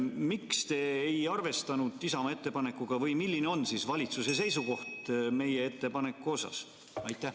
Miks te ei arvestanud Isamaa ettepanekut või milline on valitsuse seisukoht meie ettepaneku kohta?